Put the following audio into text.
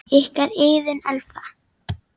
Ykkar, Iðunn Elfa.